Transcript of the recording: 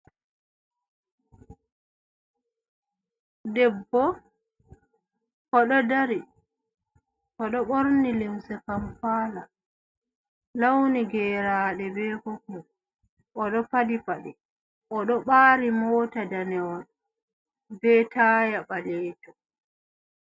Debbo oɗo dari oɗo ɓorni limse kampala lawni geraɗe, be popul oɗo padi paɗe oɗo ɓa'ri mota danejum, be taya ɓalejum.